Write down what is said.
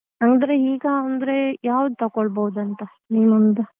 ಅಂದ್ರೆ ಈಗ ಅಂದ್ರೆ ಯಾವ್ದು ತಕ್ಕೊಳ್ಬೋದು ಅಂತ ನಿಮ್ಮ ಒಂದು.